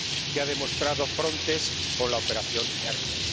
que ha demostrado Frontex con la operación Hermes.